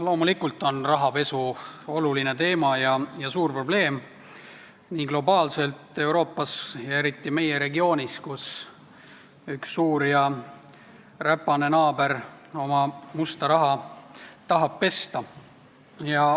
Loomulikult on rahapesu oluline teema ja suur probleem globaalselt, Euroopas ja eriti meie regioonis, kus üks suur ja räpane naaber oma musta raha tahab pesta.